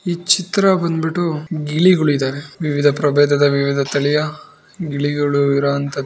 ಈ ಚಿತ್ರ ಬಂದ್ಬಿಟ್ಟು ಗಿಳಿಗಳಿದವೆ ವಿವಿಧ ಪ್ರಭೇದ ವಿವಿಧ ತಳಿಯ ಗಿಳಿಗಳು ಇರುವಂತದ್ದು ಇದು.